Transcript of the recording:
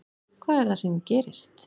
Hvað er það sem gerist?